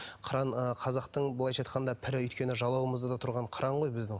қыран ы қазақтың былайша айтқанда пірі өйткені жалауымызда да тұрған қыран ғой біздің